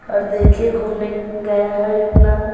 और देखिए घूमने गया है अपना--